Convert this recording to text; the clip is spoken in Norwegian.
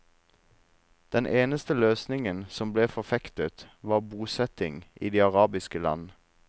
Den eneste løsning som ble forfektet var bosetting i de arabiske land.